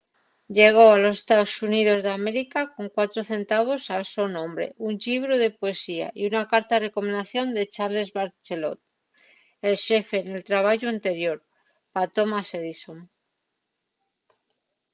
llegó a los estaos xuníos d’américa con 4 centavos al so nome un llibru de poesía y una carta de recomendación de charles batchelor el xefe nel trabayu anterior pa thomas edison